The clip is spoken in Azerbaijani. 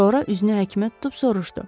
Sonra üzünü həkimə tutub soruşdu.